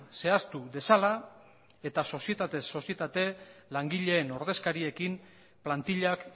zehaztu dezala eta soziatez sozietate langileen ordezkariekin plantillak